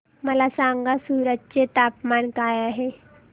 मला सांगा सूरत चे तापमान काय आहे